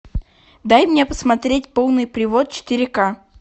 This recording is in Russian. дай мне посмотреть полный привод четыре ка